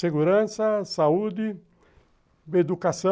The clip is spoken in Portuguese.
Segurança, saúde, educação.